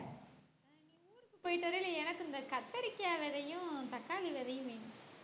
எனக்கு இந்த கத்தரிக்காய் விதையும் தக்காளி விதையும் வேணும்